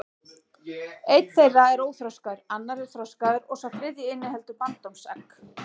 Einn þeirra er óþroskaður, annar er þroskaður og sá þriðji inniheldur bandormsegg.